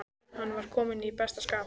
Hann var kominn í besta skap.